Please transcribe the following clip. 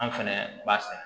An fɛnɛ b'a sɛnɛ